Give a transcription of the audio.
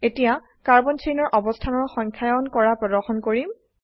এতিয়া কাৰ্বন চেইনৰ অবস্থানৰ সংখ্যায়ন কৰা প্ৰদৰ্শন কৰিম